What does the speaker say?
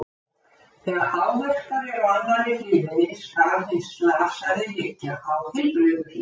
Þegar áverkar eru á annarri hliðinni, skal hinn slasaði liggja á heilbrigðu hliðinni.